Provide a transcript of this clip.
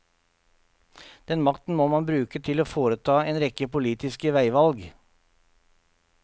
Den makten må han bruke til å foreta en rekke politiske veivalg.